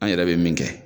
An yɛrɛ bɛ min kɛ